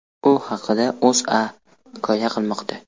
U haqda O‘zA hikoya qilmoqda .